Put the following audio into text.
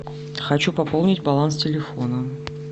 хочу пополнить баланс телефона